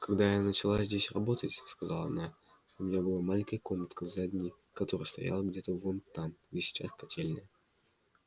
когда я начала здесь работать сказала она у меня была маленькая комнатка в здании которое стояло где-то вон там где сейчас котельная